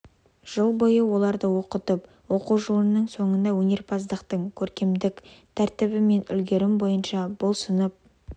жыл бойы оларды оқытып оқу жылының соңында өнерпаздықтың көркемдік тәртіпбі мен үлгерім бойынша бұл сынып